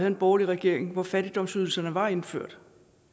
en borgerlig regering hvor fattigdomsydelserne var indført